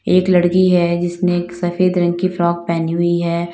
एक लड़की है जिसने एक सफेद रंग की फ्रॉक पहनी हुई है।